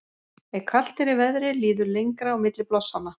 ef kalt er í veðri líður lengra á milli blossanna